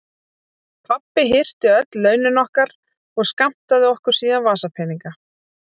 Pabbi hirti öll launin okkar og skammtaði okkur síðan vasapeninga.